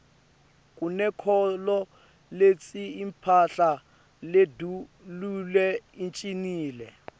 kunenkholo letsi imphahla ledulile icinile